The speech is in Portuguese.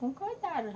Concordaram.